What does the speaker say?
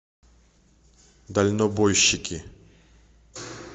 дальнобойщики